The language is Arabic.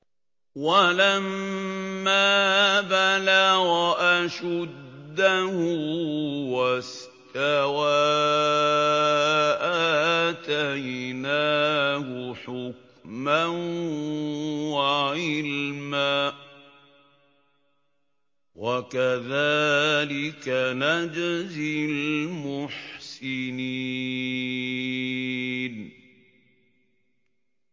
وَلَمَّا بَلَغَ أَشُدَّهُ وَاسْتَوَىٰ آتَيْنَاهُ حُكْمًا وَعِلْمًا ۚ وَكَذَٰلِكَ نَجْزِي الْمُحْسِنِينَ